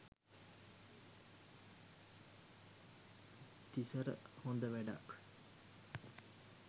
තිසර හොද වැඩක්.